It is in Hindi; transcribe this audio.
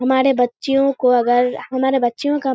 हमारे बच्चियों को अगर हमारे बच्चियों का --